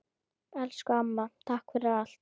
Elsku amma, takk fyrir allt!